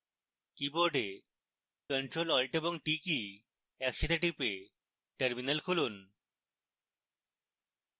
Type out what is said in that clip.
keyboard ctrl alt এবং t key একসাথে টিপে terminal খুলুন